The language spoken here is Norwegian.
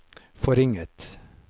forringet